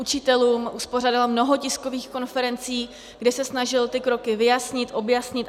Učitelům uspořádal mnoho tiskových konferencí, kde se snažil ty kroky vyjasnit, objasnit.